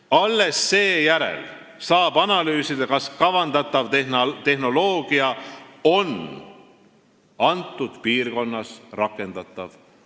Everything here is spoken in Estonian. Alles seejärel saab analüüsida, kas kavandatav tehnoloogia on piirkonnas rakendatav.